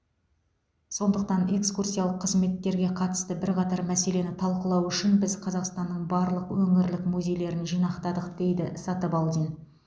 сондықтан экскурсиялық қызметтерге қатысты бірқатар мәселені талқылау үшін біз қазақстанның барлық өңірлік музейлерін жинақтадық дейді сатыбалдин